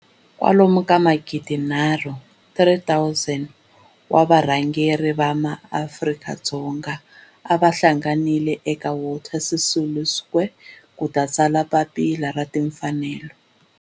Kwalomu ka magidi nharhu, 3 000, wa varhangeri va maAfrika-Dzonga va hlanganile eka Walter Sisulu Square ku ta tsala Papila ra Timfanelo.